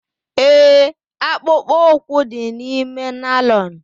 Ee, akpụkpọ ụkwụ dị n'ime naịlọn.